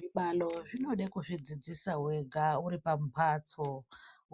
Zvibalo zvinoda kuzvidzidzisa wega uri pamhatso,